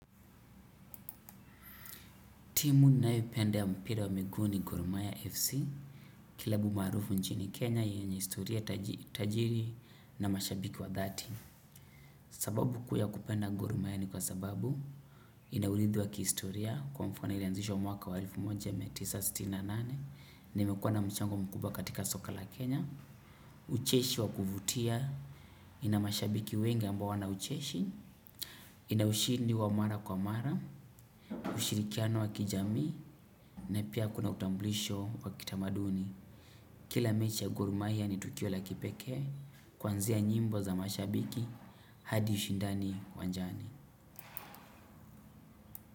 Timu ninayopenda ya mpira wa miguu ni gor mahia FC, klabu maarufu nchini Kenya, yenye historia, tajiri na mashabiki wa dhati. Sababu kuu ya kupenda gor mahia ni kwa sababu ina urithi wa kihistoria kwa mfano ilianzishwa mwaka wa elfu moja mia tisa sitini na nane, na imekuwa na mchango mkuba katika soka la Kenya, ucheshi wa kuvutia, ina mashabiki wengi ambao wana ucheshi, ina ushindi wa mara kwa mara, ushirikiano wa kijamii, na pia kuna utambulisho wa kitamaduni. Kila mechi ya gor mahia ni tukio la kipekee, kuanzia nyimbo za mashabiki, hadi ushindani uwanjani.